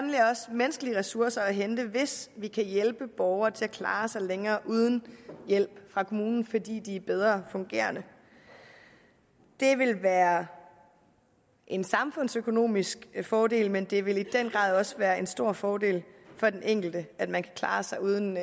menneskelige ressourcer at hente hvis vi kan hjælpe borgere til at klare sig længere uden hjælp fra kommunen fordi de er bedre fungerende det vil være en samfundsøkonomisk fordel men det vil i den grad også være en stor fordel for den enkelte at man kan klare sig uden